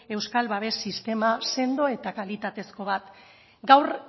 euskal babes sistema sendo eta kalitatezko bat gaur